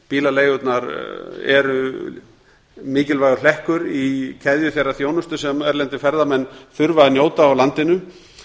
bílaleigurnar eru mikilvægur hlekkur í keðju þeirrar þjónustu sem erlendir ferðamenn þurfa að njóta á landinu